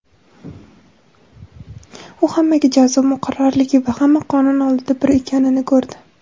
U hammaga jazo muqarrarligi va hamma qonun oldida bir ekanini ko‘rdi.